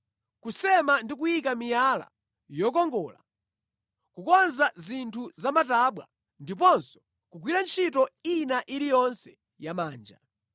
kusema ndi kuyika miyala yokongola, kukonza zinthu zamatabwa ndiponso kugwira ntchito ina iliyonse yamanja.